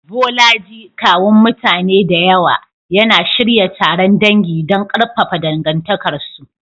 Bolaji, kawun mutane da yawa, yana shirya taron dangi don ƙarfafa dangantakarsu.